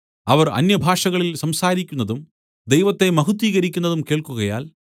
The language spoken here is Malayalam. അവർ അന്യഭാഷകളിൽ സംസാരിക്കുന്നതും ദൈവത്തെ മഹത്വീകരിക്കുന്നതും കേൾക്കുകയാൽ